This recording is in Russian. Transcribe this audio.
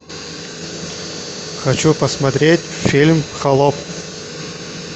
хочу посмотреть фильм холоп